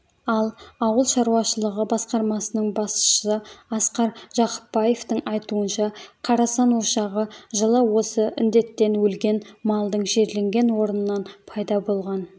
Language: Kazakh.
ал ауыл шаруашылығы басқармасының басшысы асқар жақыпбаевтың айтуынша қарасан ошағы жылы осы індеттен өлген малдың жерленген орнынан пайда болған